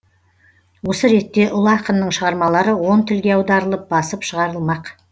осы ретте ұлы ақынның шығармалары он тілге аударылып басып шығарылмақ